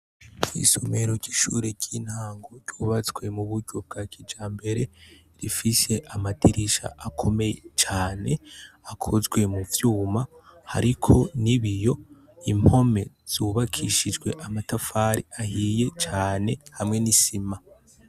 Isomero rishure ry'intango ryubazwe mu buryo bwa kija mbere rifise amadirisha akomeye cane akozwe mu vyuma, ariko ni biyo impome zubakishijwe amatafari ahiye cane hamwe n'isima.